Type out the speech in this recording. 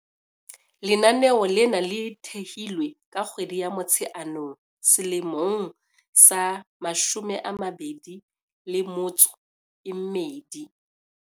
Lenaneo lena le thehilwe ka kgwedi ya Motsheanong selemong sa 2012.